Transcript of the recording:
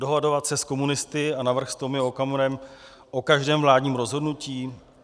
Dohadovat se s komunisty a navrch s Tomio Okamurou o každém vládním rozhodnutí?